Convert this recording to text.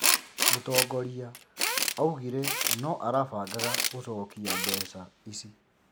Mũtongoria augire no arabangaga gũcokia mbeca īcī